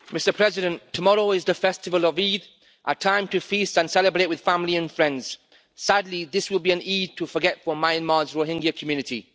Mr President, tomorrow is the festival of Eid, a time to feast and celebrate with family and friends. Sadly, this will be an Eid to forget for Myanmar's Rohingya community.